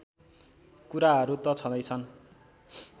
कुराहरू त छँदैछन्